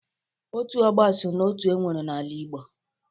Otu ọgbọ so n'otu enwere n' ala Igbo